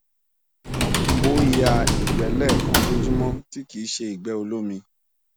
o ya igbe lekan lojumo ti ki n se igbe olomi